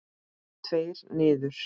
Tveir niður.